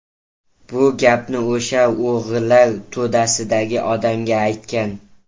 Bu gapni o‘sha o‘g‘rilar to‘dasidagi odamga aytgan.